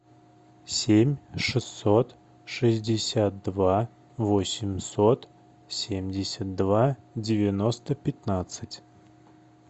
семь шестьсот шестьдесят два восемьсот семьдесят два девяносто пятнадцать